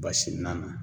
Basi nana